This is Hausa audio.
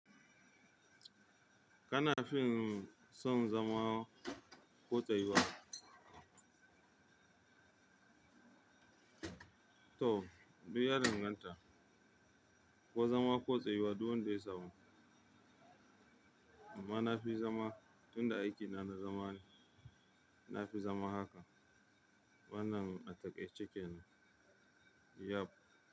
Kana fin son zama ko tsayuwa? To, duk ya danganta. Ko zama ko tsayuwa, duk wanda ya samu. Amma na fi zama, tunda aikina na zama ne, na fi zama haka. Wannan ataika ce kenan. Yap.